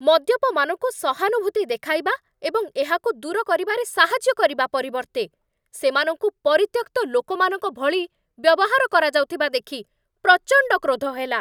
ମଦ୍ୟପମାନଙ୍କୁ ସହାନୁଭୂତି ଦେଖାଇବା ଏବଂ ଏହାକୁ ଦୂର କରିବାରେ ସାହାଯ୍ୟ କରିବା ପରିବର୍ତ୍ତେ, ସେମାନଙ୍କୁ ପରିତ୍ୟକ୍ତ ଲୋକମାନଙ୍କ ଭଳି ବ୍ୟବହାର କରାଯାଉଥିବା ଦେଖି ପ୍ରଚଣ୍ଡ କ୍ରୋଧ ହେଲା।